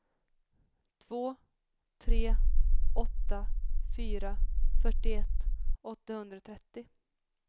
två tre åtta fyra fyrtioett åttahundratrettio